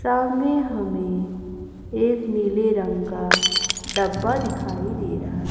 सामने हमें एक नीले रंग का डब्बा दिखाई दे रहा--